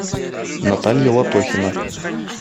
наталья латохина